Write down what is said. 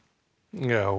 og